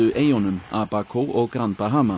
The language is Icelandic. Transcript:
eyjunum Abaco og grand